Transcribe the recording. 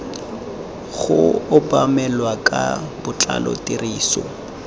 go obamelwa ka botlalo tiriso